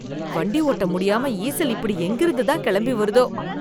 வண்டி ஓட்ட முடியாம ஈசல் இப்படி எங்கிருந்து தான் கிளம்பி வருதோ?